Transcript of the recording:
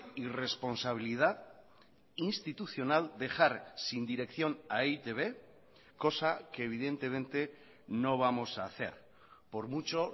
irresponsabilidad institucional dejar sin dirección a e i te be cosa que evidentemente no vamos a hacer por mucho